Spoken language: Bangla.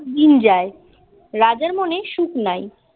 দিন যায় রাজার মনে সুখ নাই